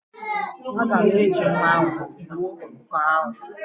Aga m eji mma gbuo ọkụkọ ahụ.